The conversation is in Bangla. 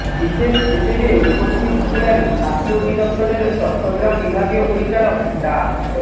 বিশেষ হিসেবে উপস্থিত ছিলেন স্বাস্থ্য অধিদপ্তরের চট্টগ্রাম বিভাগীয় পরিচালক ডা